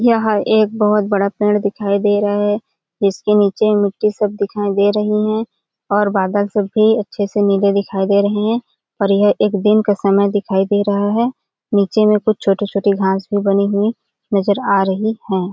यह एक बोहोत बड़ा पेड़ दिखाई दे रहा है इसके नीचे में मिट्टी सब दिखाई दे रही है और बादल सब भी अच्छे से नीले दिखाई दे रहे है और यह एक दिन का समय दिखाई दे रहा है निचे में कुछ छोटे-छोटे घास भी बने हुए नजर आ रही हैं।